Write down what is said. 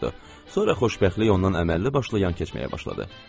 Sonra xoşbəxtlik ondan əməlli başlı yan keçməyə başladı.